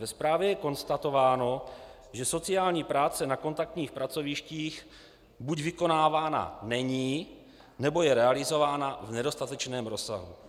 Ve zprávě je konstatováno, že sociální práce na kontaktních pracovištích buď vykonávána není, nebo je realizována v nedostatečném rozsahu.